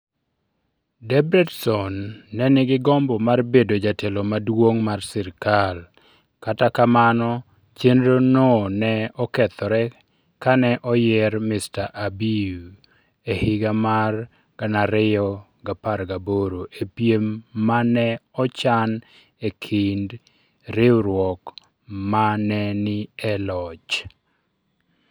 Debretsion ne nigi gombo mar bedo jatelo maduong' mar sirkal, kata kamano, chenrono ne okethore kane oyier Mr. Abiy e higa mar 2018 e piem ma ne ochan e kind riwruok ma ne ni e loch.